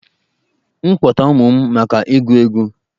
M kpọta ụmụ m maka ịgụ egwu?